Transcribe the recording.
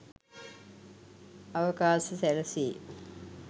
අවකාශ සැලසේ.